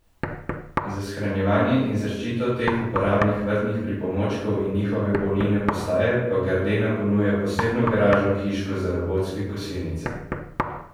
Za shranjevanje in zaščito teh uporabnih vrtnih pomočnikov in njihove polnilne postaje pa Gardena ponuja posebno garažno hiško za robotske kosilnice.